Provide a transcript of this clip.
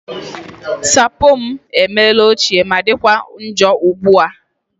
Sapo m emela ochie ma dịkwa njọ ugbu a